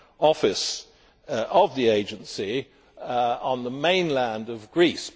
office of the agency on the mainland of Greece.